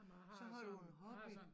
Så har du en hobby